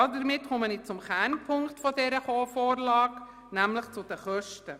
Somit komme ich zum Kernpunkt dieser Vorlage, nämlich zu den Kosten.